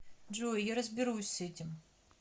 джой я разберусь с этим